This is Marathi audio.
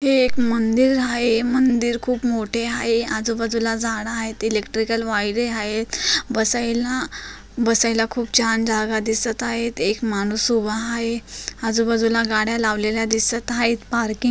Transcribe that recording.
मंदिर हाय मंदिर खूप मोठी हाय आजूबाजूला झाडं हायत इलेक्ट्रिकल वायरी हाय बसायला बसायला खूप छान जागा दिसत हायत एक माणूस उभा हाय आजूबाजूला गाड्या लावलेल्या दिसत हाय पार्किंग हाय.